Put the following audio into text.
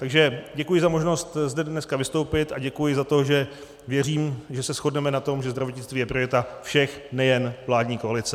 Takže děkuji za možnost zde dneska vystoupit a děkuji za to, že věřím, že se shodneme na tom, že zdravotnictví je priorita všech, nejen vládní koalice.